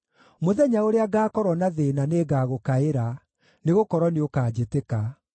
Mũthenya ũrĩa ngaakorwo na thĩĩna nĩngagũkaĩra, nĩgũkorwo nĩũkanjĩtĩka.